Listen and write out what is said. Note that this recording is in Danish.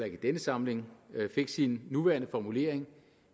ikke i denne samling fik sin nuværende formulering